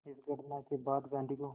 इस घटना के बाद गांधी को